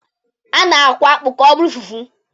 A na-akwọ akpụ ka ọ bụrụ fufu.